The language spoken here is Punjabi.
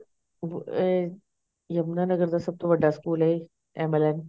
ਉਹ ਏ ਯਮੁਨਾ ਨਗਰ ਦਾ ਸਭ ਤੋਂ ਵੱਡਾ ਸਕੂਲ ਐ MLN